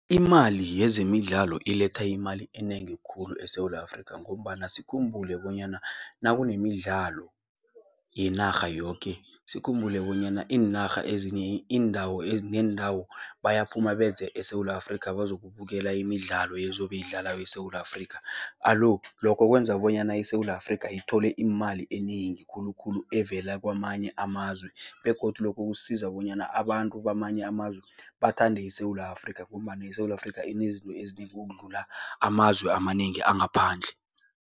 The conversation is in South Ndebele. Imali yezemidlalo iletha imali enengi khulu eSewula Afrika ngombana sikhumbule bonyana nakunemidlalo yenarha yoke, sikhumbule bonyana iinarha ezinye iindawo neendawo, bayaphuma beze eSewula Afrika bazokubukela imidlalo ezobe idlalwako eSewula Afrika. Alo, lokho kwenza bonyana iSewula Afrika ithole imali enengi khulukhulu evela kwamanye amazwe begodu lokho kusiza bonyana abantu bamanye amazwe bathande iSewula Afrika ngombana iSewula Afrika inezinto ezinengi ukudlula amazwe amanengi angaphandle.